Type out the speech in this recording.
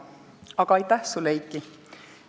Aga aitäh sulle, Eiki!